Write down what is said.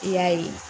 I y'a ye